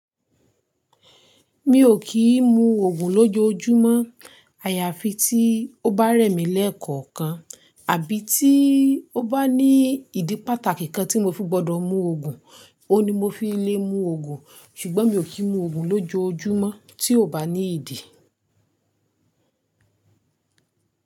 Mi ò kì í mu Ògùn lójojúmọ́ àyàfi tí ó bá rẹ̀ mí lẹ́ẹ̀kọ̀kan, àbí tí ó bá ní ìdí pàtàkì kan tí mo fi gbọ́dọ̀ mu Ògùn, òun ni mo fi le mu Ògùn. Ṣùgbọ́n mi ò kí ń mu Ògùn lójojúmọ́ tí ò bá ní ìdí.